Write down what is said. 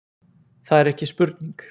Það er ekki spurning